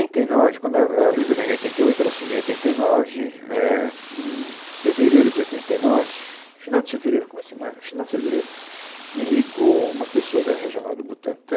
e nove, quando a a Luiza ganhou em oitenta e oito, ela assumiu em oitenta e nove, é, em fevereiro de oitenta e nove, final de fevereiro, começo de março, final de fevereiro, me ligou uma pessoa da regional do Butantã,